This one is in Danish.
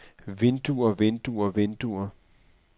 vinduer vinduer vinduer